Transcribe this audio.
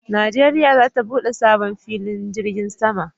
Najeriya za ta bude sabo filin jirgin sama